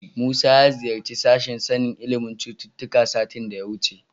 Musa ya ziyarci sashen sanin ilimin cututtuka satin da ya wuce.